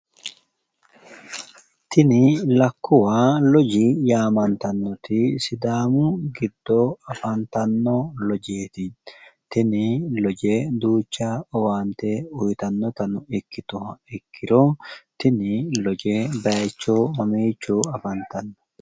Tini lakkuwa loji yaamantannoti sidaamu giddo afantanno loojeeti. Tini loje duucha owaante uuyitannotano ikkituha ikkiro tini loje baayiicho mamiicho afantanno?